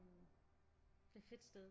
Det er et fedt sted